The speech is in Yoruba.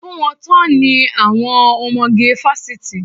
Fún wọn tán ni àwọn ọmọge fásitì.